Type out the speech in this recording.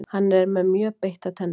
Hann er með mjög beittar tennur.